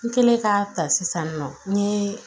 N kɛlen ka ta sisan nɔ n ye